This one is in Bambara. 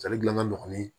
Ale gilan ka nɔgɔ ni